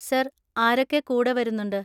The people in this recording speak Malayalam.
സർ, ആരൊക്കെ കൂടെ വരുന്നുണ്ട്?